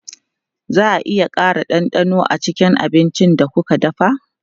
Za a iya ƙara ɗanɗano a cikin abincin da kuke dafawa?